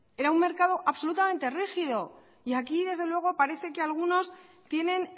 era un mercado absolutamente rígido y aquí desde luego parece que algunos tienen